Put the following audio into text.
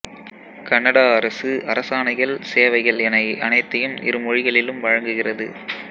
Canada அரசு அரசாணைகள் சேவைகள் என அனைத்தையும் இருமொழிகளிலும் வழங்குகிறது